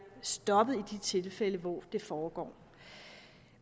stoppet i de tilfælde hvor det foregår